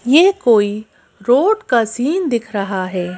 ये कोई रोड का सीन दिख रहा है।